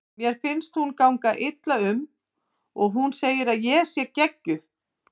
Mér finnst hún ganga illa um og hún segir að ég sé geggjuð.